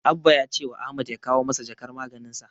Abba ya cewa Ahmad ya kawo masa jakar maganinsa.